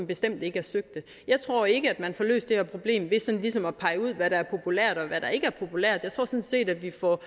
bestemt ikke er søgte jeg tror ikke at man får løst det her problem ved sådan ligesom at pege ud hvad der er populært og hvad der ikke er populært jeg tror sådan set at vi får